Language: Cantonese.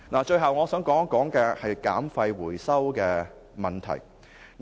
最後，我想討論減廢回收問題。